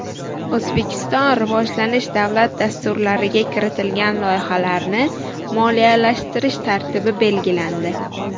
O‘zbekiston rivojlanish davlat dasturlariga kiritilgan loyihalarni moliyalashtirish tartibi belgilandi.